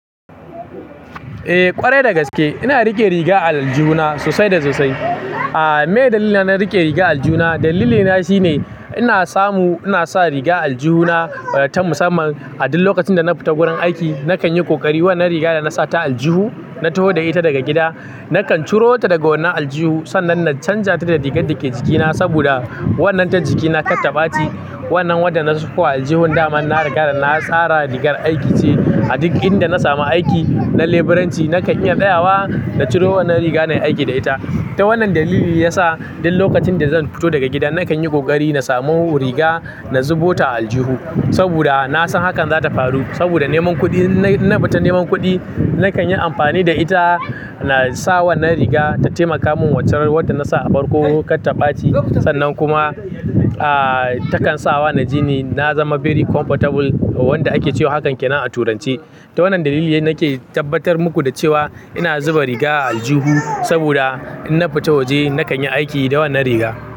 Eh ƙwarai dagaske ina rike riga a aljihu na sosai da sosai. Aa me dalilin na rike riga aljihu na? Dalilina shine ina samu, ina sa riga aljihu na ta musamman. A duk lokacin da na fita wurin aiki nakan yi ƙoƙari wannan riga da na sata aljihu, na taho da ita daga gida nakan ciro ta daga wannan aljihu. Sannan na canja ta da rigar dake jikina saboda wannan ta jikina kattabaci. Wannan wanda nasa a aljihun daman da na riga na tsara rigar aiki ce a duk inda na samu aiki na leburanci nakan iya tsayawa na ciro wannan riga nayi aiki da ita. Ta wannan dalili ya sa duk lokacin da zan fito daga gidan nakan yi kokari na samu riga na zuba ta aljihu saboda na san hakan zata faru. Saboda neman kuɗi, in na fita neman kuɗi nakan yi amfani da ita. Na sa wannan riga ta taimaka min wucewar wannan da na sa a farko katabaci. Sannan kuma aa takan sa wa na ji ni na zama very comfortable wanda ake cewa hakan kenan a turanci. Ta wannan dalili nake tabbatar muku da cewa ina zuba riga a aljihu saboda inna fita waje nakan yi aiki da wannan riga.